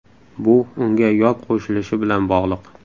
Bu unga yod qo‘shilishi bilan bog‘liq.